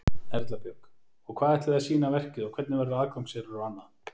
Erla Björg: Og hvað ætlið þið að sýna verkið og hvernig verður aðgangseyrir og annað?